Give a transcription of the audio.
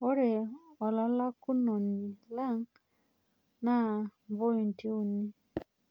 Ore olalakunoni lang' naa pointi uni